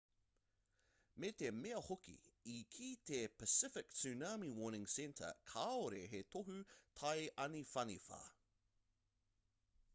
me te mea hoki i kī te pacific tsunami warning center kāore he tohu tai āniwhaniwha